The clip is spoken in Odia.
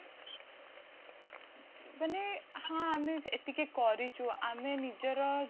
ମାନେ ହଁ ଆମେ ଏତିକି କରିଛୁ ଆମେ ନିଜର